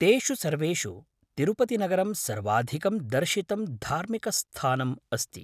तेषु सर्वेषु तिरुपतिनगरं सर्वाधिकं दर्शितं धार्मिकस्थानम् अस्ति।